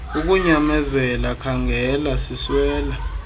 ukunyamezela khaangela siswela